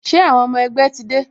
Ṣé àwọn ọmọ ẹgbẹ́ ti dé?